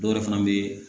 Dɔwɛrɛ fana bɛ